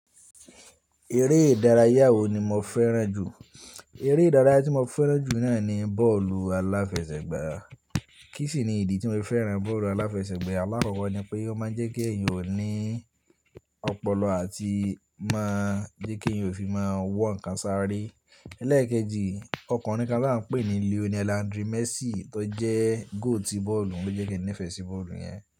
Eré ìdárayá wo ni mo fẹ́ràn jù? Eré ìdárayá tí mo fẹ́ràn jù náà ni bọ́ọ̀lù aláfẹsẹ̀gbá. Kí sì ni ìdí tí mo fẹ́ràn bọ́ọ̀lù aláfẹsẹ̀gbá? Àlákọ̀ọ́kọ́ ni pé ó máa ń jẹ́ kí ẹ̀yin ò ní ọpọlọ àti má jẹ́ kí ẹ̀yin ò fi máa wọ àǹkà sáré. Lẹ́ẹ̀kejì, ọkùnrin kan tí a ń pè ní Lionel Andri Messi tó jẹ́ gooti bọ́ọ̀lù ló jẹ́ kí nífẹ̀ẹ́ sí bọ́ọ̀lù yẹn.